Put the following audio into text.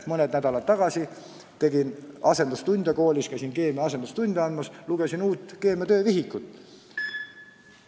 Mõni nädal tagasi käisin koolis keemia asendustunde andmas ja lugesin uut keemia töövihikut.